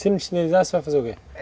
Se não, você vai fazer o quê?